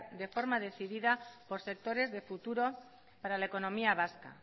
de forma decidida por sectores de futuro para la economía vasca